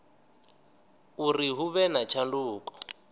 uri hu vhe na tshanduko